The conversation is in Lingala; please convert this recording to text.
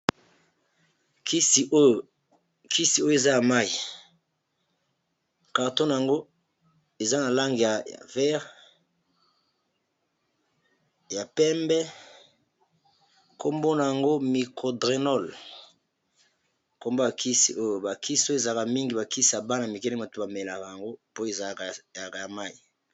Kisi oyo eza ya mayi, carton nango eza na langi ya vere, ya pembe kombo nango micro drynol kombo ba kisi oyo ba kisi oyo ezalaka mingi ba kisi ya bana mike nde bato ba melaka yango po ezaka ya may.i